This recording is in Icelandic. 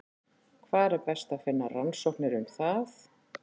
Hvar er best að finna rannsóknir um það?